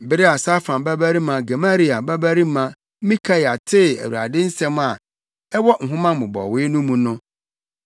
Bere a Safan babarima Gemaria babarima Mikaia tee Awurade nsɛm a ɛwɔ nhoma mmobɔwee no mu no,